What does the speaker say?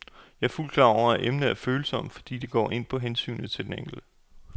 Jeg er fuldt ud klar over, at emnet er følsomt, fordi det går ind på hensynet til den enkelte.